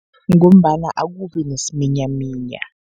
Ngombana akubi nesiminyaminya.